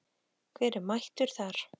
Hver er mættur þar?